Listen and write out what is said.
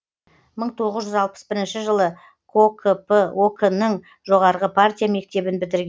мың тоғыз жүз алпыс бірінші жылы кокп ок нің жоғарғы партия мектебін бітірген